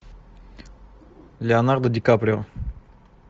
леонардо ди каприо